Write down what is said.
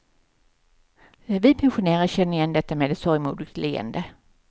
Vi pensionärer känner igen detta med ett sorgmodigt leende.